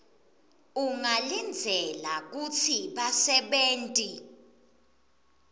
ungalindzela kutsi basebenti